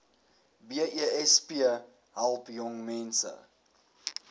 besp help jongmense